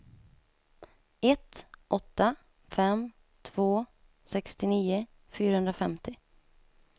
ett åtta fem två sextionio fyrahundrafemtio